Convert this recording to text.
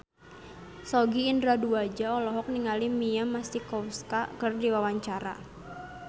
Sogi Indra Duaja olohok ningali Mia Masikowska keur diwawancara